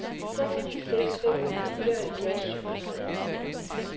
seks ni seks fem fireoghalvfjerds syv hundrede og en